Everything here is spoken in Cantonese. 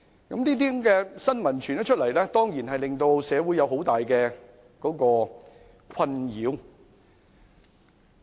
這些新聞傳出後，當然令社會有很大困擾。